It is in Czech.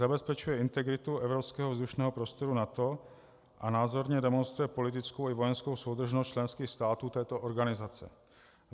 Zabezpečuje integritu evropského vzdušného prostoru NATO a názorně demonstruje politickou i vojenskou soudržnost členských států této organizace.